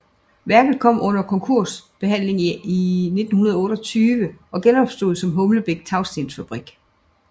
Værket kom under konkursbehandling i 1928 og genopstod som Humlebæk Tagstensfabrik